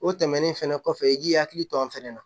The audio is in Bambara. O tɛmɛnen fɛnɛ kɔfɛ i k'i hakili to a fɛnɛ na